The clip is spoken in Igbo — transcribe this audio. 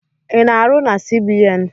I na-arụ na CBN?